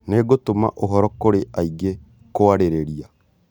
Nĩngũtũma ũhoro kũrĩ angĩ kũarĩrĩria